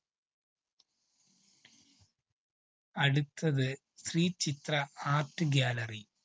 അടുത്തത്‌ Sree Chitra art gallery.